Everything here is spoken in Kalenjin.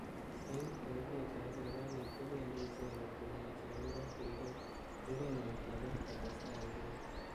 Eng telelet ab sirikalit ko bendi icheket komuchi akobo keret nwa nebo kotestai icheket